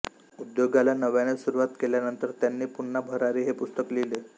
उद्योगाला नव्याने सुरुवात केल्यानंतर त्यांनी पुन्हा भरारी हे पुस्तक लिहिले